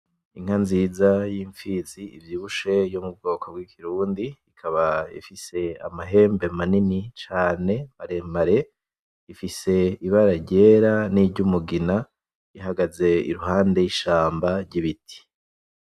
Inka nziza y'impfizi ivyibushe yo mu bwoko bw'ikirundi, ikaba ifise amahembe manini cane, maremare, ifise ibara ryera niry'umugina, ihagaze iruhande y'ishamba ry'ibiti.